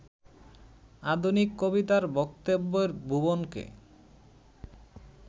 আধুনিক কবিতার বক্তব্যের ভুবনকে